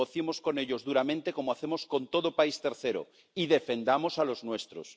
Negociemos con ellos duramente ―como hacemos con todo país tercero― y defendamos a los nuestros.